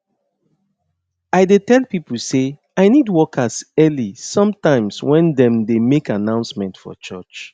i dey tell pipo say i need workers early sometimes when dem dey make announcement for church